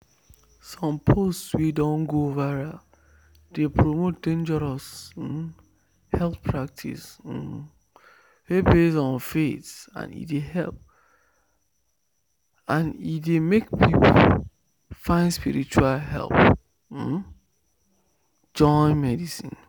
some post wey don go viral dey promote dangerous um health practice um wey base on faith and e dey make people find spiritual help um join medicine.